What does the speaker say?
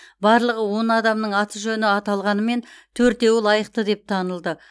барлығы он адамның аты жөні аталғанымен төртеуі лайықты деп танылды